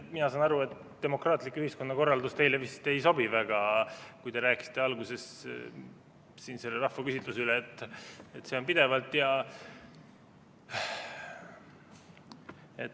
Mina saan aru, et demokraatlik ühiskonnakorraldus teile vist väga ei sobi, kui te rääkisite alguses siin sellest rahvaküsitlusest.